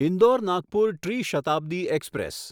ઇન્દોર નાગપુર ટ્રી શતાબ્દી એક્સપ્રેસ